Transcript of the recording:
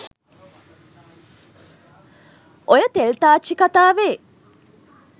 ඔය තෙල් තාච්චි කතාවෙ